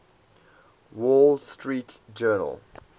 wall street journal